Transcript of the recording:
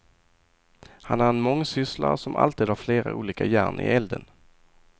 Han är en mångsysslare som alltid har flera olika järn i elden.